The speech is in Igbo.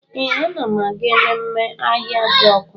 Ee, ana m aga ememme Ahịajọkụ.